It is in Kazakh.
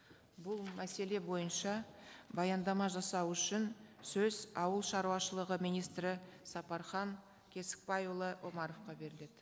бұл мәселе бойынша баяндама жасау үшін сөз ауылшаруашылығы министрі сапархан кесікбайұлы омаровқа беріледі